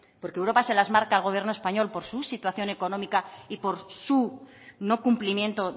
porque europa se las marca al gobierno español por su situación económica y por su no cumplimiento